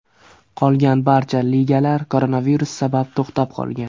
Qolgan barcha ligalar koronavirus sabab to‘xtab qolgan.